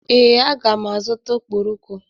Ee, aga m azụta okporoko.